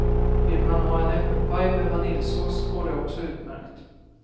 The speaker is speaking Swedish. Vill man ha en äppelpaj med vaniljsås går det också utmärkt.